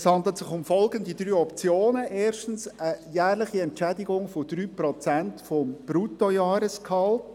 Es handelt sich um folgende drei Optionen: erstens eine jährliche Entschädigung von 3 Prozent des Bruttojahresgehalts;